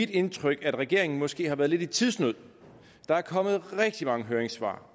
indtryk at regeringen måske har været lidt i tidsnød der er kommet rigtig mange høringssvar